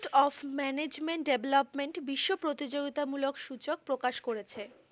of management development বিশ্ব প্রতিযোগিতা মূলক সূচক প্রকাশ করেছে।